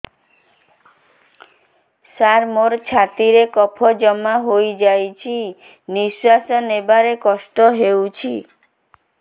ସାର ମୋର ଛାତି ରେ କଫ ଜମା ହେଇଯାଇଛି ନିଶ୍ୱାସ ନେବାରେ କଷ୍ଟ ହଉଛି